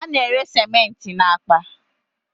A na- ere cementị na akpa